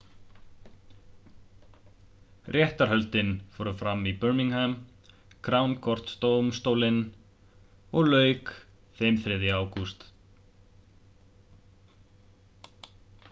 réttarhöldin fóru fram við birmingham crown court-dómstólinn og lauk þeim 3. ágúst